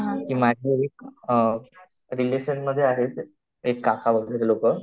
की माझे एक रिलेशनमध्ये आहेत एक काका वगैरे लोकं